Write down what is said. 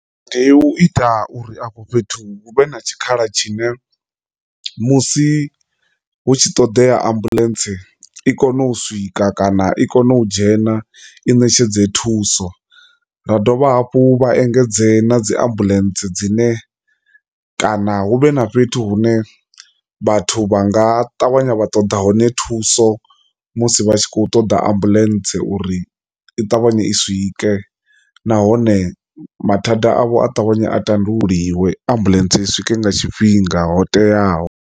Ndi u ita uri afho fhethu hu vhe na tshikhala tshine musi hu tshi ṱoḓea ambuḽentse i kone u swika kana i kone u dzhena i ṋetshedze thuso, ra dovha hafhu vha engedze na dzi ambulentse dzine kana hu vhe na fhethu hune vhathu vha nga ṱavhanya vha ṱoḓa hone thuso musi vha tshi kho ṱoḓa ambuḽentse uri i ṱavhanye i swike, nahone mathanda avho a ṱavhanya a ṱanḓululiwe ambuḽentse i swike nga tshifhinga tsho teaho.